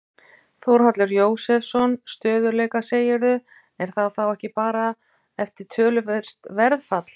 Þórhallur Jósefsson: Stöðugleika segirðu, er það þá ekki bara eftir töluvert verðfall?